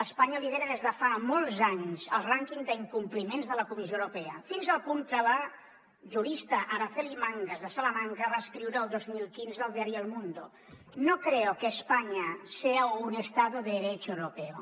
espanya lidera des de fa molts anys el rànquing d’incompliments de la comissió europea fins al punt que la jurista araceli mangas de salamanca va escriure el dos mil quinze al diari el mundo no creo que españa sea un estado de derecho europeo